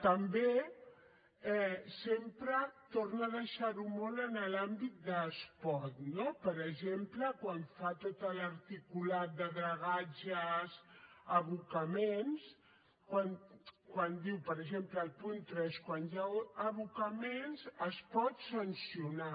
també sempre torna a deixar ho molt en l’àmbit de es pot no per exemple quan fa tot l’articulat de dragatges abocaments quan diu per exemple al punt tres quan hi ha abocaments es pot sancionar